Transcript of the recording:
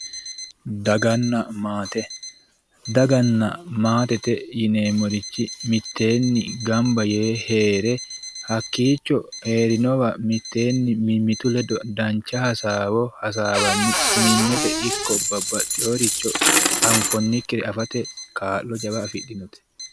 Daganna maate, daganna maate yineemmorichi mitteenni gamba yee heere hakkicho heerinowa mimmitu ledo dancha hasaawo hasaawanni sumimete ikko babbaxeworicho anfonikkiricho affate kaa'lo jawa afidhinote.